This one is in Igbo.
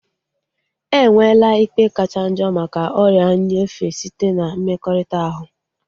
Enwela ikpe kachanjo maka ọrịa nyefee site na mmekọrịta ahu